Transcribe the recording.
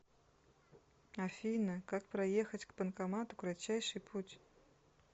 афина как проехать к банкомату кратчайший путь